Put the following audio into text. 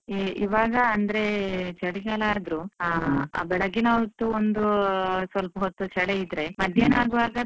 E~ ಇವಾಗ ಅಂದ್ರೆ ಚಳಿಗಾಲ ಆದ್ರೂ ಬೆಳಗಿನ ಹೊತ್ತು ಒಂದೂ ಸ್ವಲ್ಪ ಹೊತ್ತು ಚಳಿ ಇದ್ರೆ ಮಧ್ಯಾಹ್ನ ಆಗುವಾಗ.